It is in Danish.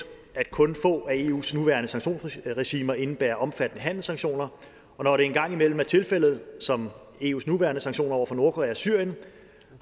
at kun få af eus nuværende sanktionsregimer indebærer omfattende handelssanktioner og når det en gang imellem er tilfældet som eus nuværende sanktioner over for nordkorea og syrien